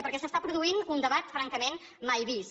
perquè s’està produint un debat francament mai vist